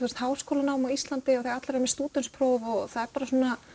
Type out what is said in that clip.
háskólanám á Íslandi af því allir eru með stúdentspróf og það er bara